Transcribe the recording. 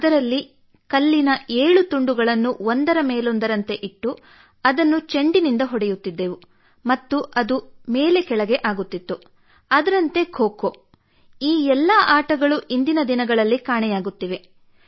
ಅದರಲ್ಲಿ ಕಲ್ಲಿನ ಏಳು ತುಂಡುಗಳನ್ನು ಒಂದರ ಮೇಲೊಂದರಂತೆ ಇಟ್ಟು ಅದನ್ನು ಚೆಂಡಿನಿಂದ ಹೊಡೆಯುತ್ತಿದ್ದೆವು ಮತ್ತು ಅದು ಮೇಲೆ ಕೆಳಗೆ ಆಗುತ್ತಿತ್ತು ಅದರಂತೆ ಖೋ ಖೋ ಈ ಎಲ್ಲಾ ಆಟಗಳು ಇಂದಿನ ದಿನಗಳಲ್ಲಿ ಕಾಣೆಯಾಗುತ್ತಿವೆ